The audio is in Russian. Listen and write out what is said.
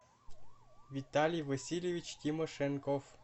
виталий васильевич тимошенков